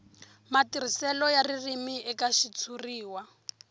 matirhiselo ya ririmi eka xitshuriwa